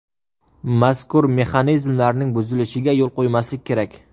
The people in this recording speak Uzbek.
Mazkur mexanizmlarning buzilishiga yo‘l qo‘ymaslik kerak.